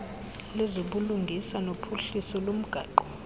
lezobulungisa nophuhliso lomgaqo